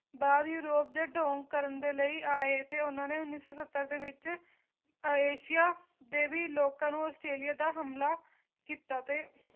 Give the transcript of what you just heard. ਬਾਅਦ ਯੂਰੋਪ ਦੇ ਡੋਂਗ ਕਰਨ ਦੇ ਲਈ ਆਏ ਤੇ ਉਹਨਾਂ ਨੇ ਉੱਨੀ ਸੌ ਸੱਤਰ ਦੇ ਵਿੱਚ ਏਸ਼ੀਆ ਦੇ ਵੀ ਲੋਕਾਂ ਨੂੰ ਆਸਟ੍ਰੇਲੀਆ ਦਾ ਹਮਲਾ ਕੀਤਾ ਤੇ